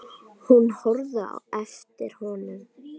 Hún horfði á eftir honum.